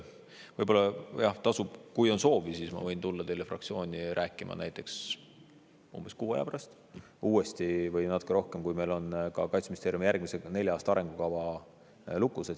Võib-olla kui on soovi, siis ma võin tulla teile fraktsiooni rääkima näiteks umbes kuu või natuke rohkema aja pärast uuesti, kui meil on ka Kaitseministeeriumi järgmise nelja aasta arengukava lukus.